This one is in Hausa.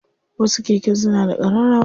Wasu keken suna da ƙararrawa.